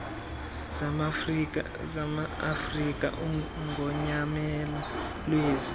zamaafrika ugonyamelo lwezi